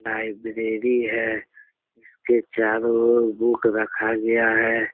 Library है । इसके चारो ओर बुक रखा गया है ।